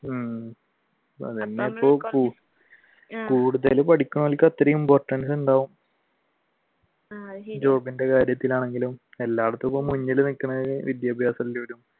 ഉം കൂടുതൽ പഠിക്കുന്നവർക്ക് അത്രയും importance ഉണ്ടാവും job ന്റെ കാര്യത്തിൽ ആണെങ്കിലും എല്ലാവര്ക്കും ഇപ്പോൾ മുന്നിൽ നിൽക്കുന്നത്